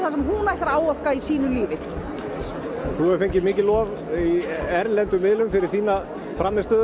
sem hún ætlar að áorka í sínu lífi þú hefur hlotið mikið lof fyrir þína frammistöðu